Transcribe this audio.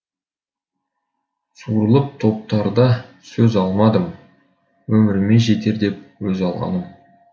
сурылып топтарда сөз алмадым өміріме жетер деп өз алғаным